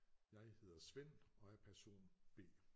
Jeg hedder Svend og er person B